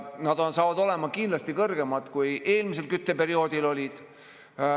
Nad saavad olema kindlasti kõrgemad, kui eelmisel kütteperioodil.